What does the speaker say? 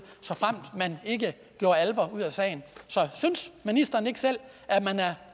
såfremt man ikke gjorde alvor af sagen så synes ministeren ikke selv at man er